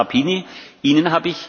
Es geht zulasten aller anderen.